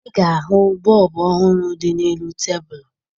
Ị ga-ahụ bọọbụ ọhụrụ dị n'elu tebulu